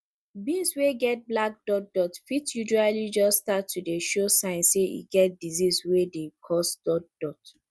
beans wey get black dot dot fit usually jus start to dey show sign say e get disease wey dey cause dot dot